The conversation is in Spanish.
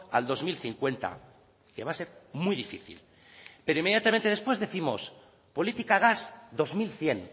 al dos mil cincuenta que va a ser muy difícil pero inmediatamente después décimos política gas dos mil cien